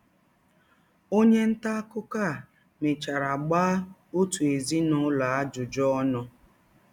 Ọnye nta akụkọ a mechara gbaa ọtụ ezinụlọ ajụjụ ọnụ.